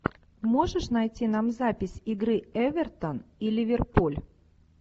можешь найти нам запись игры эвертон и ливерпуль